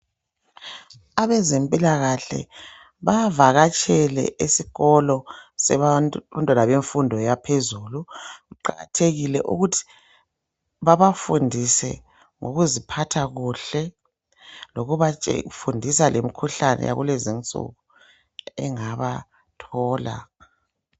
Abezempilakahle bavakatshele esikolo sabantwana bemfundo ephezulu, kuqakathekile ukuthi babafundise ngokuziphatha kuhle, lokubafundisa lemikhuhlane yakulezi nsuku engabathola.